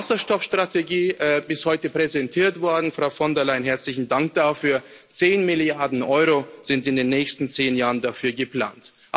Die Wasserstoffstrategie ist heute präsentiert worden Frau von der Leyen, herzlichen Dank dafür zehn Milliarden Euro sind in den nächsten zehn Jahren dafür geplant.